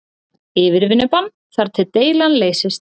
Yfirvinnubann þar til deilan leysist